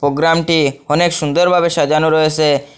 পোগ্রামটি অনেক সুন্দর ভাবে সাজানো রয়েসে।